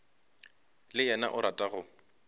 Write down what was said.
le yena o rata go